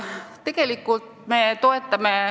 Küsimus on selge.